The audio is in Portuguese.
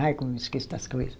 Ai, como esqueço das coisa.